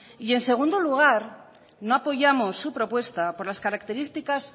y en segundo lugar no apoyamos su propuesta por las características